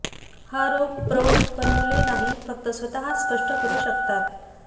हा रोग प्रौढ पण मुले नाही फक्त स्वतः स्पष्ट करू शकता